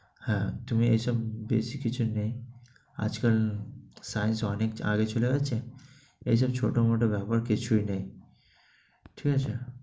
হ্যাঁ তুমি এসব বেশি কিছু নেই, আজকাল science অনেক আগে চলে গেছে। এসব ছোটো-মোটো ব্যাপার কিছুই নেই। ঠিক আছে?